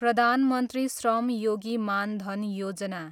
Pradhan Mantri Shram Yogi Maan Dhan Yojana